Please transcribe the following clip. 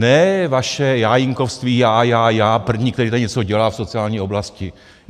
Ne vaše jájínkovství, já, já, já, první, který tady něco dělá v sociální oblasti.